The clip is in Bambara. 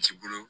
Ci bolo